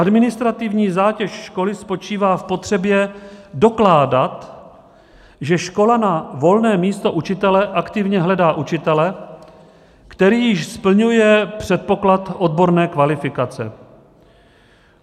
Administrativní zátěž školy spočívá v potřebě dokládat, že škola na volné místo učitele aktivně hledá učitele, který již splňuje předpoklad odborné kvalifikace.